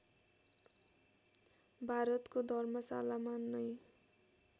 भारतको धर्मशालामा नै